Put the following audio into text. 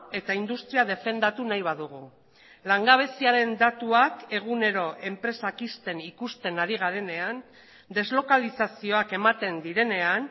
eta industria defendatu nahi badugu langabeziaren datuak egunero enpresak ixten ikusten ari garenean deslokalizazioak ematen direnean